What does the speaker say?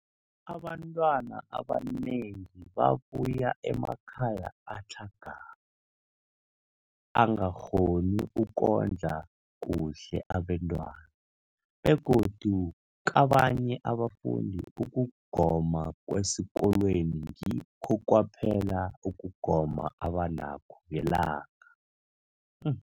Abantwana abanengi babuya emakhaya atlhagako angakghoni ukondla kuhle abentwana, begodu kabanye abafundi, ukugoma kwesikolweni ngikho kwaphela ukugoma abanakho ngelanga.